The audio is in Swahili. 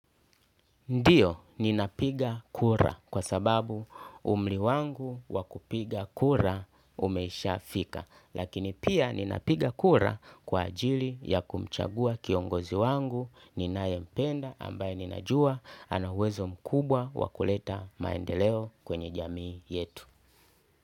Ndiyo ninapiga kura kwa sababu umri wangu wa kupiga kura umeshafika lakini pia ninapiga kura kwa ajili ya kumchagua kiongozi wangu ninayempenda ambaye ninajua ana uwezo mkubwa wa kuleta maendeleo kwenye jamii yetu.